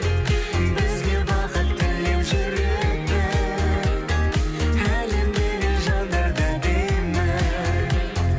бізге бақыт тілеп жүретін әлемдегі жандар да әдемі